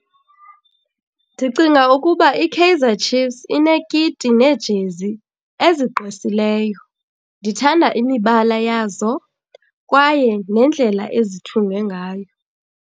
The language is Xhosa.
Ndicinga ukuba iKaizer Chiefs inekiti neejezi ezigqwesileyo. Ndithanda imibala yazo kwaye nendlela ezithungwe ngayo.